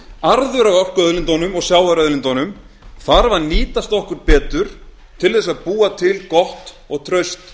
arður af orkuauðlindunum og sjávarauðlindunum þarf nýtast okkur betur til þess að búa til gott og traust